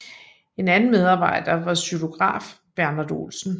En anden medarbejder var xylograf Bernhard Olsen